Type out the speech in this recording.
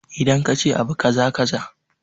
Idan kace abu kaza kaza